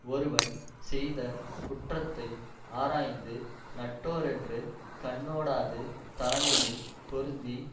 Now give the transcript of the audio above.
ஒருவன் செய்த குற்றத்தை ஆராய்ந்து நட்டோரென்று கண்ணோடாது தலைமையைப் பொருந்தி